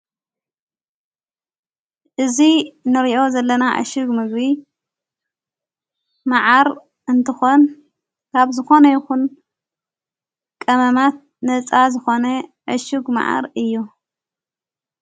እዙይ ንርእዮ ዘለና ዕሽግ ምግቢ መዓር እንተኾን ካብ ዝኾነ ይኹን ቀመማት ነፃ ዝኾነ ዕሽግ መዓር እዩ።